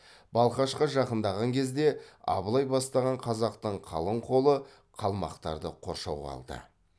балқашқа жақындаған кезде абылай бастаған қазақтың қалың қолы қалмақтарды қоршауға алды